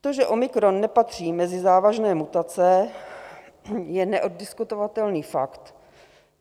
To, že omikron nepatří mezi závažné mutace, je neoddiskutovatelný fakt.